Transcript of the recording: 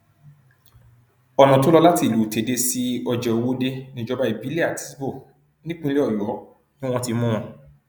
ọnà tó lọ láti ìlú tẹdẹ sí ọjẹòwòde níjọba ìbílẹ àtisbo nípínlẹ ọyọ ni wọn ti mú wọn